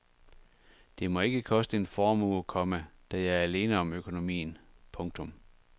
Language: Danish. Det må ikke koste en formue, komma da jeg er alene om økonomien. punktum